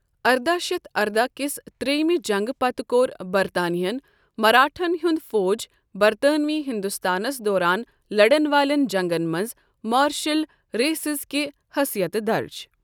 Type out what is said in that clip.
ارداہ شتھ ارداہ کِس ترٛییمِہ جنگہٕ پتہٕ کوٚر برطانیہن مراٹھن ہُنٛد فوج برطانوی ہندوستانس دوران لڑن والٮ۪ن جنگن منٛز مارشل ریسِز کہِ حثیتہٕ درج۔